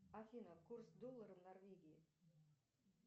афина курс доллара в норвегии